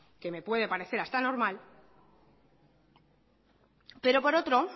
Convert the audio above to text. que me puede parecer hasta normal pero por otro